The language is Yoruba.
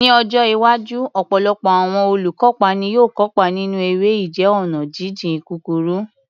Ní ọjọ́ iwájú, ọ̀pọ̀lọpọ̀ àwọn olùkópa ni yóò kópa nínú eré ìje ọ̀nà jíjìn kúkúrú.